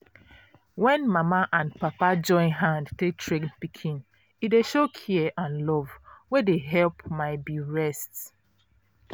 when mama and papa join hand take train pikin e dey show care and love wey dey help my be rest